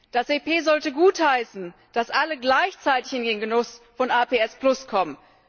Das EP sollte gutheißen, dass alle gleichzeitig in den Genuss von APS kommen.